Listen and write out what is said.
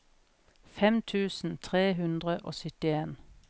fem tusen tre hundre og syttien